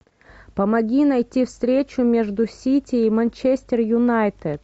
помоги найти встречу между сити и манчестер юнайтед